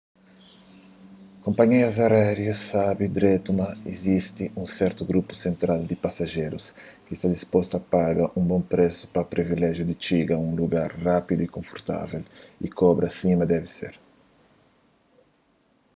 konpanhias aériu sabe dretu ma izisti un sertu grupu sentral di pasajerus ki sta dispostu a paga un bon présu pa privilejiu di txiga un lugar rápidu y konfortável y kobra sima debe ser